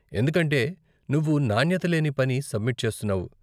ఎందుకంటే నువ్వు నాణ్యత లేని పని సబ్మిట్ చేస్తున్నావు.